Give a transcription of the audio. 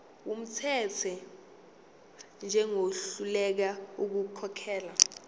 wumthetho njengohluleka ukukhokhela